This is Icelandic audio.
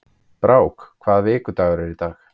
Brák, hvaða vikudagur er í dag?